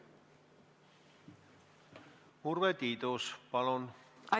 Urve Tiidus, palun!